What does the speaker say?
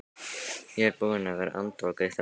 Ég er búinn að vera andvaka í þrjá klukkutíma.